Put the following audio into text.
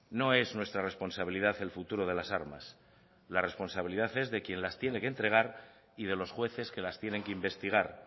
no es nuestra responsabilidad el futuro de las armas la responsabilidad es de quién las tiene que entregar y de los jueces que las tienen que investigar